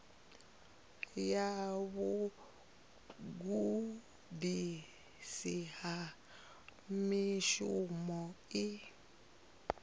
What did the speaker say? ya vhugudisi ha mushumo i